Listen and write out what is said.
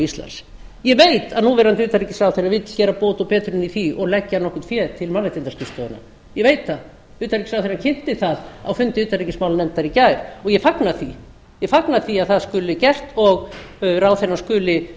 íslands ég veit að núv utanríkisráðherra vill gera bót og betrun í því og leggja nokkurt fé til mannréttindaskrifstofunnar ég veit það utanríkisráðherrann kynnti það á fundi utanríkismálanefndar í gær og ég fagna því að það skuli gert og ráðherrann skuli